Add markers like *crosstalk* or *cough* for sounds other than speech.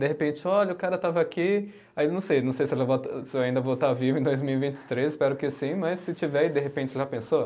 De repente, olha, o cara estava aqui, aí não sei, não sei se eu *unintelligible* se eu ainda vou estar vivo em dois mil e vinte e três, espero que sim, mas se tiver e de repente, já pensou?